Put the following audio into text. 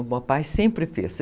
O papai sempre fez.